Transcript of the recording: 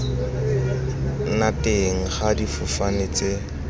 nna teng ga difofane tse